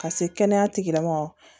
Ka se kɛnɛya tigi lamɔgɔ